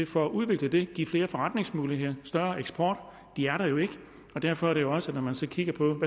for at udvikle det give flere forretningsmuligheder større eksport de er der jo ikke derfor er det også når man så kigger på